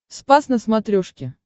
спас на смотрешке